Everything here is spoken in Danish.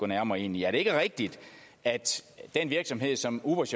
nærmere ind i er det ikke rigtigt at den virksomhed som ubers